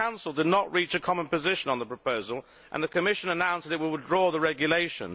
The Council did not reach a common position on the proposal, and the Commission announced that it will withdraw the regulation.